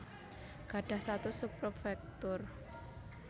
Gadhah status sub prefektur